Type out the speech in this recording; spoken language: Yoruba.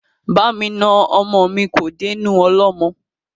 Ba mi na ọmọ mi kò dénú ọlọ́mọ.